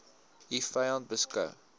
u vyand beskou